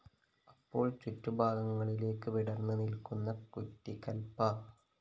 അപ്പോള്‍ ചുറ്റു ഭാഗങ്ങളിലേയ്ക്ക് വിടര്‍ന്ന് നില്‍ക്കുന്നു കുറ്റികല്‍പ്പ